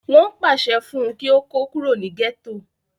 wọn yóò pàṣẹ fún un kí ó kó kúrò ní gẹ́tò